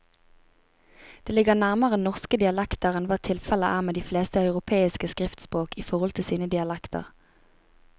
Det ligger nærmere norske dialekter enn hva tilfellet er med de fleste europeiske skriftspråk i forhold til sine dialekter.